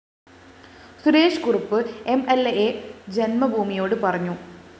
Suresh Kurup M L അ ജന്മഭൂമിയോട് പറഞ്ഞു